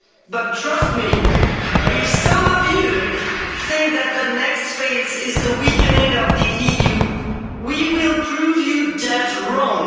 in charge. But trust me, if some of you think that the next phase is the weakening of the EU, we will prove you dead